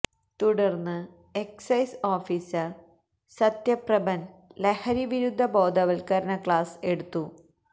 തുടർന്ന് excise officer Sathyaprabhan ലഹരി വിരുദ്ധ ബോധവത്കരണ ക്ലാസ് എടുത്തു